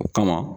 O kama